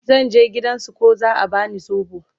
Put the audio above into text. zan je gidan su ko za'a bani sobo